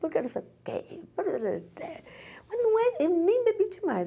Por que você... Mas não é eu nem bebi demais.